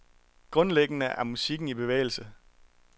Grundlæggende er musikken i bevægelse.